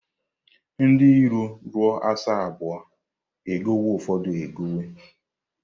Ndị iro ruo asaa abụọ, e gowe ụfọdụ egowe.